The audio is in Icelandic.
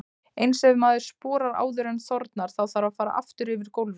Eins ef maður sporar áður en þornar, þá þarf að fara aftur yfir gólfið.